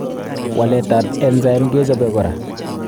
Waletab enzyme kechobe kora.